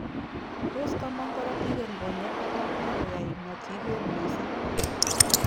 Tos komong korotik eng konyek kora ak koyai matiiger misssing